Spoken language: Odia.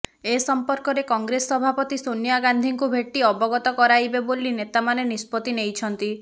ଏ ସଂପର୍କରେ କଂଗ୍ରେସ ସଭାପତି ସୋନିଆ ଗାନ୍ଧିଙ୍କୁ ଭେଟି ଅବଗତ କରାଇବେ ବୋଲି ନେତାମାନେ ନିଷ୍ପତ୍ତି ନେଇଛନ୍ତି